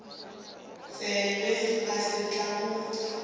tsebe o sa tla mo